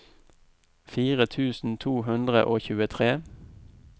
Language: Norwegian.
fire tusen to hundre og tjuetre